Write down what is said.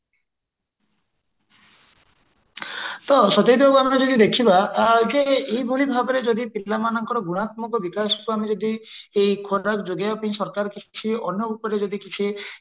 ତ ସତେଜ ବାବୁ ଆମେ ଯଦି ଦେଖିବା ହଉଛି ଏଇ ଭଳି ଭାବରେ ଯଦି ପିଲାମାନଙ୍କର ଯଦି ଗୁଣାତ୍ମକ ବିକାଶକୁ ଆମେ ଯଦି ଯୋଗାଇବା ପାଇଁ ସରକାର କିଛି ଅନ୍ୟ ଉପାୟରେ ଯଦି କିଛି